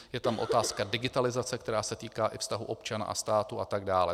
Je tam otázka digitalizace, která se týká i vztahu občana a státu, a tak dále.